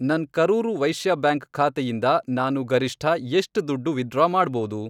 ನನ್ ಕರೂರ್ ವೈಶ್ಯ ಬ್ಯಾಂಕ್ ಖಾತೆಯಿಂದ ನಾನು ಗರಿಷ್ಠ ಎಷ್ಟ್ ದುಡ್ಡು ವಿತ್ಡ್ರಾ ಮಾಡ್ಬೋದು?